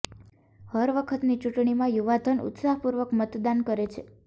હર વખતની ચૂંટણીમાં યુવાધન ઉત્સાહ પૂર્વક મતદાન કરે છે